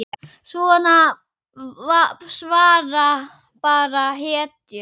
Svona svara bara hetjur.